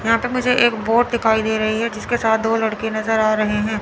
यहां पे मुझे एक वोट दिखाई दे रही है जिसके साथ दो लड़के नजर आ रहे हैं।